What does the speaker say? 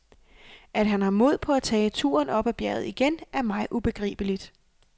At han har mod på at tage turen op ad bjerget igen, er mig ubegribeligt.